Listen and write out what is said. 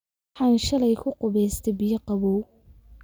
Waxaan shalay kuqubeste biyoo qabow .